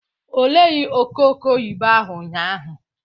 Ọ keghi re ọtẹn nokhuo ọghe emwa nibun